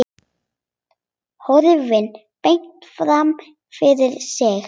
Horfir beint fram fyrir sig.